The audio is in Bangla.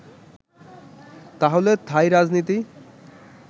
তাহলে থাই রাজনিীতি